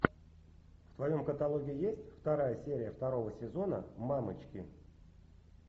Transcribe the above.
в твоем каталоге есть вторая серия второго сезона мамочки